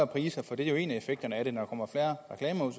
priser for det er jo en af effekterne af det når der kommer færre reklamer